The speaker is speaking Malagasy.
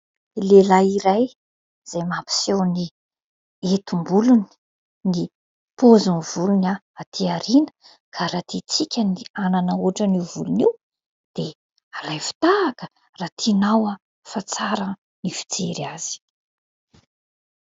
Lehilahy iray izay mampiseho ny heti-bolony, ny paoziny volony aty aoriany ka raha tiantsika ny hanana ohatran'io volon'io dia alaivo tahaka raha tinao fa tsara ny fijery azy.